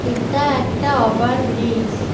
এতা একতা over bridge.